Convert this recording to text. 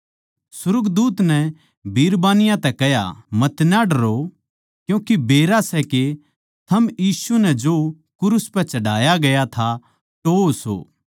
सुर्गदूत नै बिरबानियाँ ताहीं कह्या मतना डरो मन्नै बेरा सै के थम यीशु नै जो क्रूस पै चढ़ाया गया था टोह्वो सो